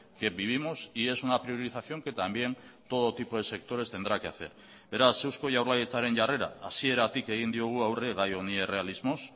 que vivimos y es una priorización que también todo tipo de sectores tendrá que hacer beraz eusko jaurlaritzaren jarrera hasieratik egin diogu aurre gai honi errealismoz